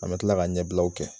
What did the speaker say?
An bɛ tila ka ɲɛbilaw kɛ.